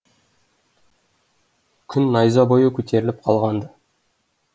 күн найза бойы көтеріліп қалған ды